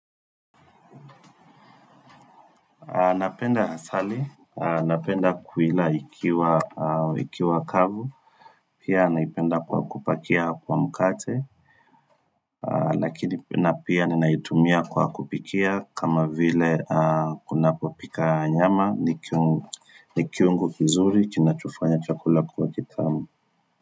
Napenda asali, napenda kuila ikiwa kavu, pia naipenda kwa kupakia kwa mkate, lakini na pia ninaitumia kwa kupikia kama vile kuna kupika nyama, ni kiungo kizuri, chinachofanya chakula kwa kitamu.